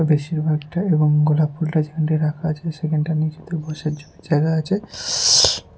বেশিরভাগটা এবং গোলাপ ফুলটা যেখানটায় রাখা আছে সেখানটা নীচেতে বসার জন্য জায়গা আছে।